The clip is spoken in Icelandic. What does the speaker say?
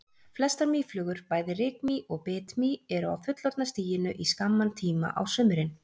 Flestar mýflugur, bæði rykmý og bitmý eru á fullorðna stiginu í skamman tíma á sumrin.